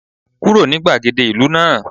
Kúrò ní gbàgede ìlú náà